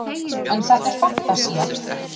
en þetta er fantasía